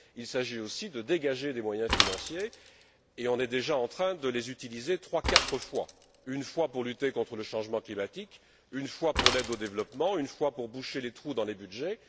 Il s'agit aussi de dégager des moyens financiers et on est déjà en train de les utiliser trois ou quatre fois une fois pour lutter contre le changement climatique, une fois pour l'aide au développement, une fois pour boucher les trous dans les budgets.